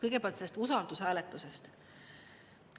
Kõigepealt sellest usaldushääletusest.